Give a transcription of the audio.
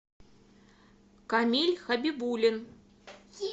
камиль хабибулин